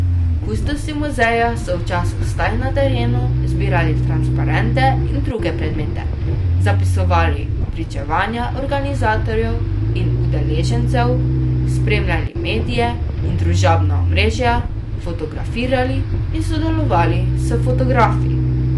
Kustosi muzeja so v času vstaj na terenu zbirali transparente in druge predmete, zapisovali pričevanja organizatorjev in udeležencev, spremljali medije in družabna omrežja, fotografirali in sodelovali s fotografi.